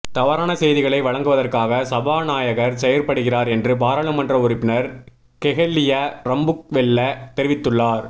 தவறான செய்திகளை வழங்குவதற்காக சபாநாயகர் செயற்படுகிறார் என்று பாராளுமன்ற உறுப்பினர் கெஹலிய ரம்புக்வெல்ல தெரிவித்துள்ளார்